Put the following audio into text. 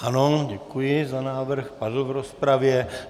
Ano, děkuji za návrh, padl v rozpravě.